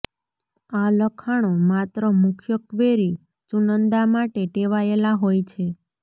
આ લખાણો માત્ર મુખ્ય ક્વેરી ચુનંદા માટે ટેવાયેલા હોય છે